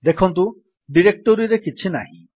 ଦେଖନ୍ତୁ ଡିରେକ୍ଟୋରୀରେ କିଛି ନାହିଁ